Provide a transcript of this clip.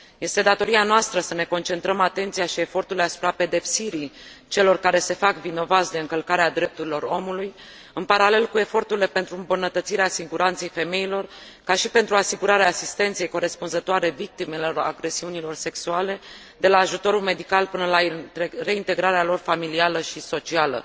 Este datoria noastră să ne concentrăm atenția și eforturile asupra pedepsirii celor care se fac vinovați de încălcarea drepturilor omului, în paralel cu eforturile pentru îmbunătățirea siguranței femeilor, ca și pentru asigurarea asistenței corespunzătoare victimelor agresiunilor sexuale, de la ajutorul medical până la reintegrarea lor familială și socială.